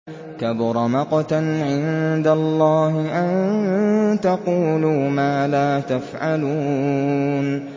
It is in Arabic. كَبُرَ مَقْتًا عِندَ اللَّهِ أَن تَقُولُوا مَا لَا تَفْعَلُونَ